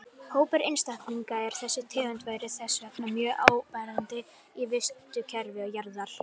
Hópur einstaklinga af þessari tegund væri þess vegna mjög áberandi í vistkerfi jarðar.